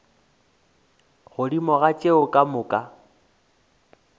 godimo ga tšeo ka moka